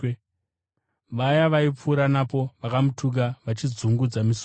Vaya vaipfuura napo, vakamutuka vachidzungudza misoro yavo